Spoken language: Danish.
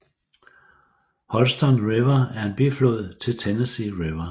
Holston River er en biflod til Tennessee River